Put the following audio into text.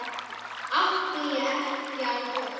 Átti ég ekki á von?